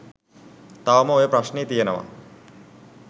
තවම ඔය ප්‍රශ්නේ තියනවා